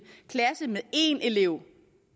klasse med en elev